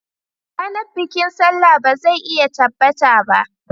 Ranar bikin Sallah ba zai iya tabbata ba